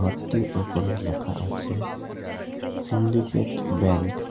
গেটটির ওপর লেখা আছে সিন্ডিকেট ব্যাংক ।